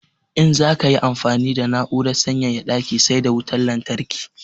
In za ka yi amfani da na'urar sanyaya daki sai da wutan lantarki.